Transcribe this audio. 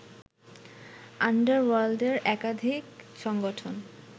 আন্ডারওয়ার্ল্ডের একাধিক সংগঠন